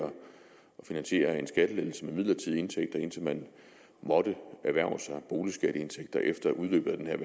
finansiere en skattelettelse med midlertidige indtægter indtil man måtte erhverve sig boligskatteindtægter efter udløbet af den her